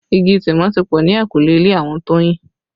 Igi Tìmọ́ ti pọ ni eyinkule ilé àwọn Toyin